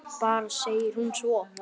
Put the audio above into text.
Bara segir hún svo.